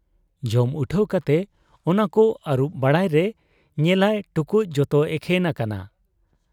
ᱡᱚᱢ ᱩᱴᱷᱟᱹᱣ ᱠᱟᱛᱮ ᱚᱱᱟᱠᱚ ᱟᱹᱨᱩᱵ ᱵᱟᱲᱟᱭᱨᱮ ᱧᱮᱞᱟᱭ ᱴᱩᱠᱩᱡ ᱡᱚᱛᱚ ᱮᱠᱷᱮᱱ ᱟᱠᱟᱱᱟ ᱾